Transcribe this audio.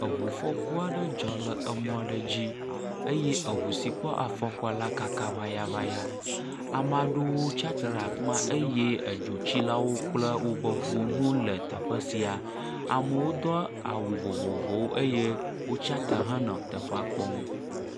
Eŋu fɔku aɖe dzɔ le emɔ ɖe dzi eye eŋu si kpɔ afɔkua kaka ŋayaŋaya, ame aɖewo tsatsitre ɖe teƒe ma eye edzotsilawo kple woƒe ŋuwo hã wole teƒe sia. Amewo do awu vovovowo eye wotsatsitre henɔ teƒea kpɔm.